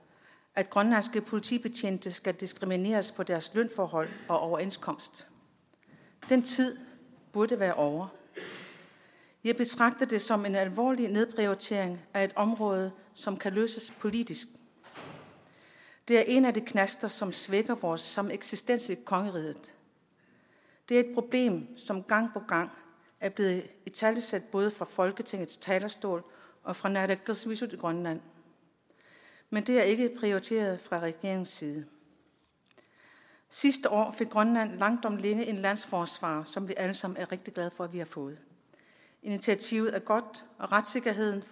at grønlandske politibetjente skal diskrimineres på deres lønforhold og overenskomst den tid burde være ovre jeg betragter det som en alvorlig nedprioritering af et område som kan løses politisk det er en af de knaster som svækker vores sameksistens i kongeriget det er et problem som gang på gang er blevet italesat både fra folketingets talerstol og fra naalakkersuisut i grønland men det er ikke prioriteret fra regeringens side sidste år fik grønland langt om længe en landsforsvarer som vi alle sammen er rigtig glade for at vi har fået initiativet er godt og retssikkerheden